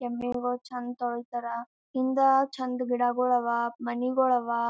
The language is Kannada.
ಎಮ್ಮಿಗಳು ಚಂದ್ ತೋಳಿತರ್ ಹಿಂದ್ ಚಂದ್ ಗಿಡಗಳು ಅವ್ ಮನಿಗೂಳ್ ಅವ್ .